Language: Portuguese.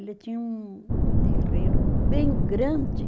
Ele tinha um um terreiro bem grande.